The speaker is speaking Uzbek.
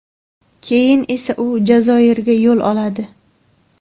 Keyin esa u Jazoirga yo‘l oladi.